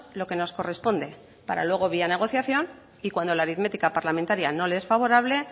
lo que nos corresponde para luego vía negociación y cuando la aritmética parlamentaria no le es favorable